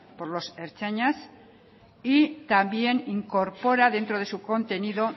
por los ertzainas y también incorpora dentro de su contenido